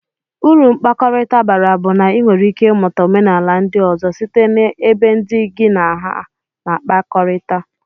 Uru mkpakọrita bara bu na inwere ike imuta omenala ndi ozo site na ebe ndi gi na aha na akpakọrita.